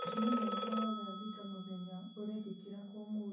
mũcemanio wakwa wa thaa thita mũthenya ũrekĩkĩra kũ ũmũthĩ